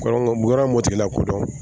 yɔrɔ mɔti la kodɔn